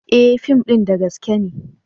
E! fim din da gaske ne.